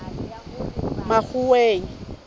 makgoweng